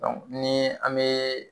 nii an bee